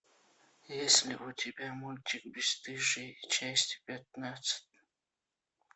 есть ли у тебя мультик бесстыжие часть пятнадцать